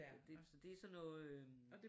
Det så det sådan noget øhm